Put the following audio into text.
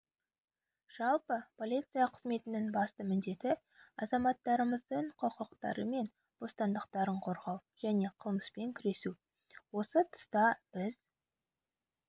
жалпы полиция қызметінің басты міндеті азаматтарымыздың құқықтары мен бостандықтарын қорғау және қылмыспен күресу осы тұста біз